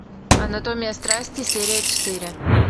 анатомия страсти серия четыре